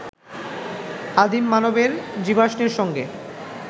আদিম মানবের জীবাশ্মের সঙ্গে